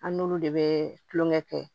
An n'olu de bɛ tulonkɛ kɛ